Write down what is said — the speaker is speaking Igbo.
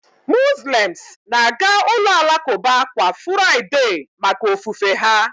Muslems na-aga ụlọ alakụba kwa furaịdee maka ofufe ha